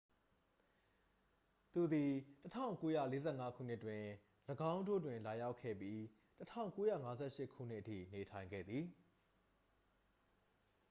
သူသည် 1945 ခုနှစ်တွင် ၎င်းတို့တွင် လာရောက်ခဲ့ပြီး 1958 ခုနှစ်အထိ နေထိုင်ခဲ့သည်